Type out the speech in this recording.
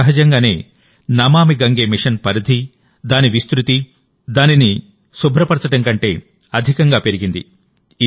సహజంగానే నమామి గంగే మిషన్ పరిధి దాని విస్తృతినదిని శుభ్రపరచడం కంటే అధికంగా పెరిగింది